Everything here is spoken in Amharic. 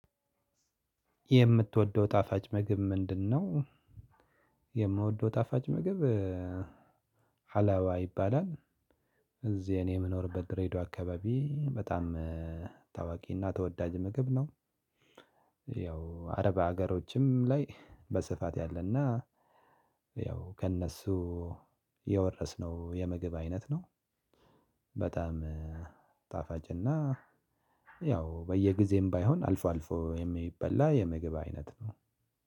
የምትወደው ጣፋጭ ምግብ ምንድነው? የምወደው ጣፋጭ ምግብ ሀላዋ ይባላል። እዚህ እኔ የምኖርበት ድሬዳዋ አካባቢ በጣም ታዋቂና ተወዳጅ ምግብ ነው፣ ያው አረብ ሀገሮችም ላይ በስፋት ያለና ያው ከእነሱ የወረስነው የምግብ አይነት ነው። በጣም ጣፋጭና ያው በየጊዜም ባይሆን አልፎ አልፎ የሚበላ የምግብ አይነት ነው።